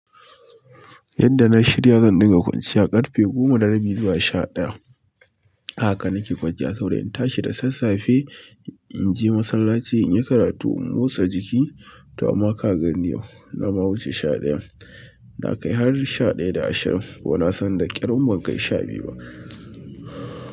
Yadda na shirya zan ɗinga kwanciya ƙarfe goma da rabi zuwa sha ɗaya. Haka nake kwanciya saboda in tashi da sassafe in je masallaci, in yi karatu, in motsa jiki to amma ka gan yau na wuce sha ɗayan. Na kai har sha ɗaya da ashirin kuma na san da ƙyar in ban kai sha biyu ba.